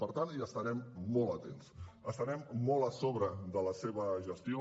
per tant hi estarem molt atents estarem molt a sobre de la seva gestió